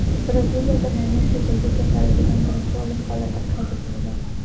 Braziliyada maymun chechagi kasalligidan birinchi o‘lim holati qayd etildi.